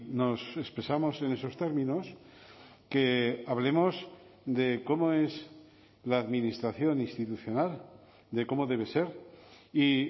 nos expresamos en esos términos que hablemos de cómo es la administración institucional de cómo debe ser y